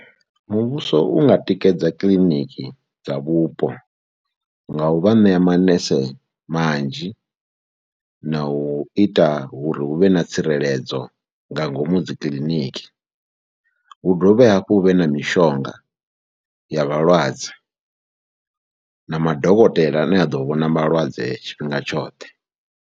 Muvhuso u nga tikedza kiḽiniki dza vhupo nga u vha ṋea manese manzhi na u ita uri hu vhe na tsireledzo nga ngomu dzi kiḽiniki, hu dovhe hafhu hu vhe na mishonga ya vhalwadze na madokotela ane a ḓo vhona malwadze tshifhinga tshoṱhe.